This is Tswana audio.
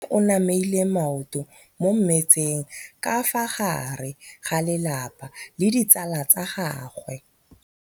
Mme o namile maoto mo mmetseng ka fa gare ga lelapa le ditsala tsa gagwe.